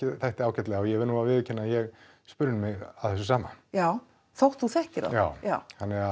þætti ágætlega og ég verð að viðurkenna að ég spurði mig að þessu sama já þótt þú þekkir þá já já